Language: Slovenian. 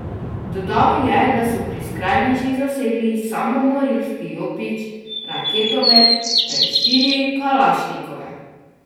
Dodal je, da so pri skrajnežih zasegli samomorilski jopič, raketomet ter štiri kalašnikovke.